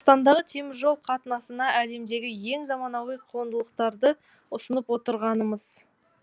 қазақстандағы теміржол қатынасына әлемдегі ең заманауи қондырғыларды ұсынып отырғанымыз